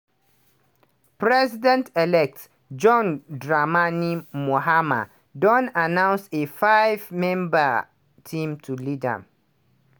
president-elect john dramani mahama don announce a five-member team to lead im